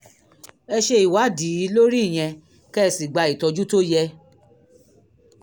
ẹ ṣe ìwádìí lórí ìyẹn kẹ́ ẹ sì gba ìtọ́jú tó yẹ